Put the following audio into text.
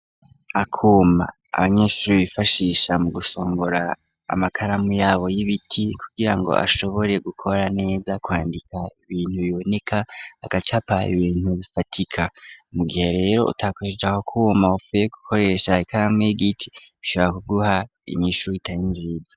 Akuma abanyeshuri bifashisha mu gusongora amakaramu yabo y'ibiti. Kugira ngo ashobore gukora neza kwandika ibintu biboneka agacapa ibintu bifatika mu gihe rero utakoresheje ako kuma wafuye gukoresha ikarmwa y'igiti bishobora kuguha inyishu itari nziza .